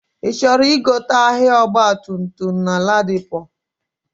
Ichọrọ igote ahia ọgba tum tum na ladipo?